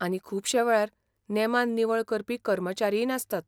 आनी खुबश्या वेळार नेमान निवळ करपी कर्मचारीय नासतात.